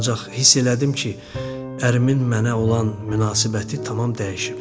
Ancaq hiss elədim ki, ərimin mənə olan münasibəti tamam dəyişib.